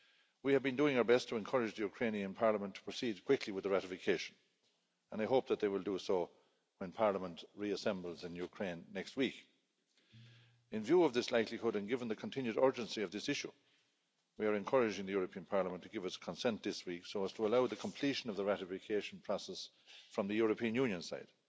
We have been doing our best to encourage the Ukrainian parliament to proceed quickly with the ratification and I hope that they will do so when Parliament reassembles in Ukraine next week. In view of this likelihood and given the continued urgency of this issue, we are encouraging the European Parliament to give its consent this week so as to allow the completion of the ratification process from the European Union side.